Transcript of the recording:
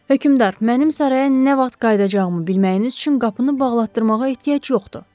Hökmdar, mənim saraya nə vaxt qayıdacağımı bilməyiniz üçün qapını bağlatdırmağa ehtiyac yoxdur.